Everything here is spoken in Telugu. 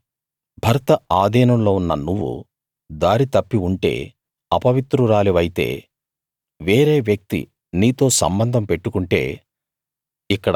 కానీ భర్త ఆధీనంలో ఉన్న నువ్వు దారి తప్పి ఉంటే అపవిత్రురాలివైతే వేరే వ్యక్తి నీతో సంబంధం పెట్టుకుంటే